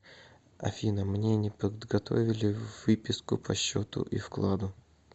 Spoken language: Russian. афина мне не подготовили выписку по счету и вкладу